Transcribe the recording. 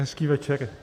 Hezký večer.